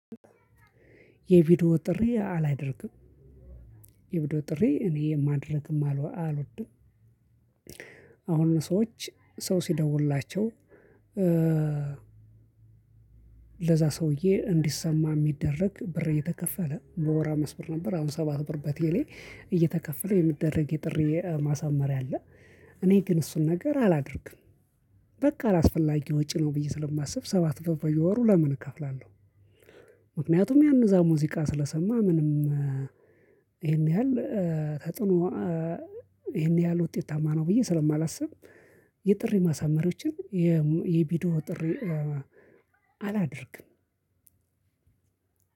የቪዲዮ ጥሪ አላደርግም። የቪዲዮ ጥሪ እኔ ማደርግም አልወድም። አሁን ሰዎች ሰው ሲደውልላቸው። ሰውዬ እንዲሰማ የሚደረግ ብር እየተከፈለ በወር አምስት ብር ነበር። አሁን ሰባት ብር በቴሌ እየተከፈለ የሚደረግ የጥሪ ማሳመር ያለ። እኔ ግን እሱን ነገር አላደርግም። በቃ አላስፈላጊ ወጪ ነው ብዬ ስለማስብ ሰባት በየወሩ ለምን እከፍላለሁ? ምክንያቱም ያንን እዛ ሙዚቃ ስለሰማ ምንም ይሄን ያህል ተጥኖ። ይሄን ያህል ውጤትማ ነው ብዬ ስለማላስብ። የጥሪ ማሳመሪያዎችን የቢዲዮ ጥሪ አላደርግም።